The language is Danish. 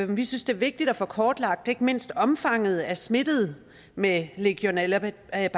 vi synes det er vigtigt at få kortlagt ikke mindst omfanget af smittede med legionellabakterien